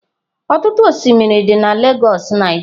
Ọtụtụ osimiri dị na Lagos Nigeria.